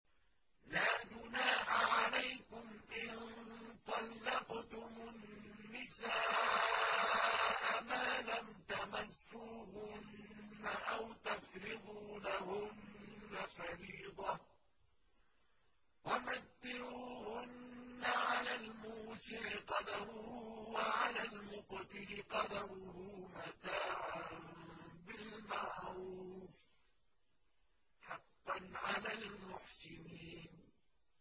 لَّا جُنَاحَ عَلَيْكُمْ إِن طَلَّقْتُمُ النِّسَاءَ مَا لَمْ تَمَسُّوهُنَّ أَوْ تَفْرِضُوا لَهُنَّ فَرِيضَةً ۚ وَمَتِّعُوهُنَّ عَلَى الْمُوسِعِ قَدَرُهُ وَعَلَى الْمُقْتِرِ قَدَرُهُ مَتَاعًا بِالْمَعْرُوفِ ۖ حَقًّا عَلَى الْمُحْسِنِينَ